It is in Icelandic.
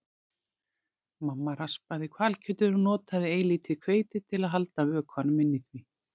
Mamma raspaði hvalkjötið og notaði eilítið hveiti til að halda vökvanum inni í því.